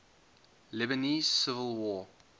lebanese civil war